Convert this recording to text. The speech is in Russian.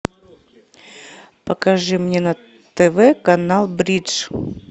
покажи мне на тв канал бридж